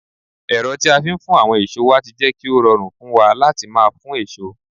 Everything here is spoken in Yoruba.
ero ti a fi n fun awon eso wa ti je ki o rorun fun wa lati maa fun eso